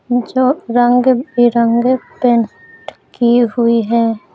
जो रंग बिरंग पेंट की हुई है।